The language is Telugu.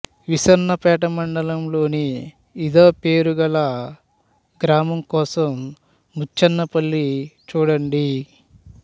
విస్సన్నపేట మండలంలోని ఇదేపేరు గల గ్రామం కోసం ముచ్చనపల్లి చూడండి